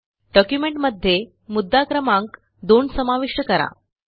डॉक्युमेंटमध्ये मुद्दा क्रमांक 2 समाविष्ट करा